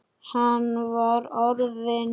Hann var orðinn.